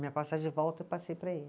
Minha passagem de volta eu passei para ele.